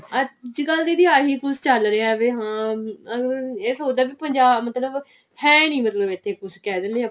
ਅੱਜਕਲ ਦੀਦੀ ਆਹੀ ਕੁਛ ਚੱਲ ਰਿਹਾ ਵੀ ਹਾਂ ਹਮ ਇਹ ਸੋਚਦਾ ਕੀ ਪੰਜਾਬ ਮਤਲਬ ਹੈ ਨੀ ਮਤਲਬ ਇੱਥੇ ਕੁਝ ਕਿਹ ਦਿੰਨੇ ਆ ਆਪਾਂ